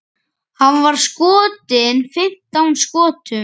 Hann var skotinn fimmtán skotum.